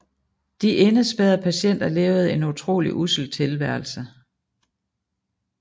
De indespærrede patienter levede en utrolig ussel tilværelse